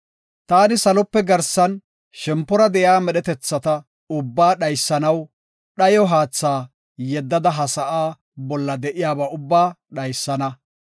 “Taani salope garsan shempora de7iya medhetetha ubbaa dhaysanaw dhayo haatha yeddada ha sa7aa bolla de7iyaba ubbaa dhaysana.